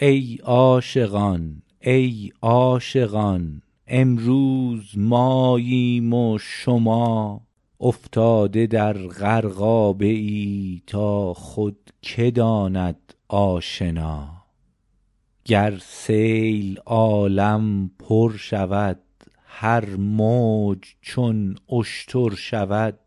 ای عاشقان ای عاشقان امروز ماییم و شما افتاده در غرقابه ای تا خود که داند آشنا گر سیل عالم پر شود هر موج چون اشتر شود